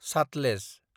Sutlej